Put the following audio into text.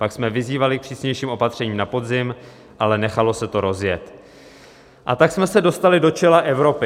Pak jsme vyzývali k přísnějším opatřením na podzim, ale nechalo se to rozjet, a tak jsme se dostali do čela Evropy.